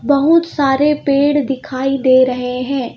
बहुत सारे पेड़ दिखाई दे रहे हैं.